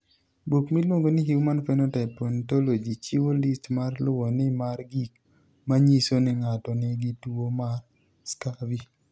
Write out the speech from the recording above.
Buk miluongo ni Human Phenotype Ontology chiwo list ma luwoni mar gik ma nyiso ni ng'ato nigi tuo mar Scurvy.